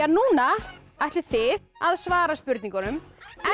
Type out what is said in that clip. núna ætlið þið að svara spurningunum